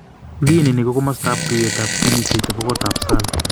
Ginini ko kamastaab tuiyetab ginishek chebo kotab SALL.